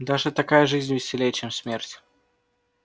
даже такая жизнь веселей чем смерть